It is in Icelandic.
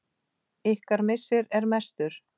Ykkar missir er mestur.